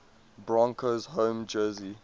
broncos home jersey